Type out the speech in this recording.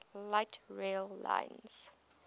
light rail lines